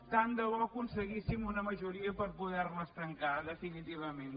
tant de bo aconseguíssim una majoria per poder les tancar definitivament